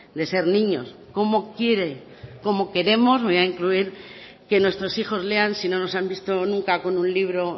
de ser niños cómo quiere cómo queremos me voy a incluir que nuestros hijos lean si no nos han visto nunca con un libro